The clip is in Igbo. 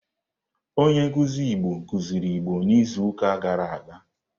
Onye nkuzi Igbo kuziri Igbo n'izuụka gara aga.